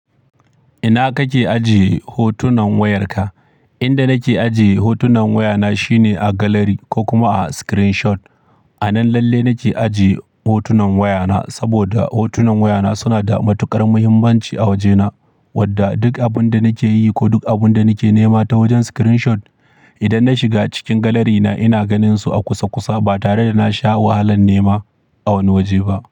Ina kake ajiye hotunan wayarka? Inda nake ajiye hotunan wayana shine a gallery ko kuma a screenshot. A nan lalle nake ajiye hotunan wayana saboda hotunan wayana suna da matuƙar muhimmanci a wajena, wadda duk abun da nake yi ko duk abun da nake nema ta wajen screenshot, idan na shiga cikin galarina ina ganinsu a kusa kusa ba tare da na sha wahalan nema a wani waje ba.